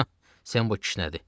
Sembo kişnədi.